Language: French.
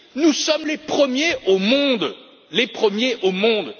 Nous sommes les premiers au monde, les premiers au monde!